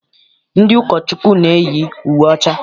Ndị ụkọchukwu na-eyi uwe ọcha.